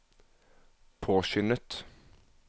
påskyndet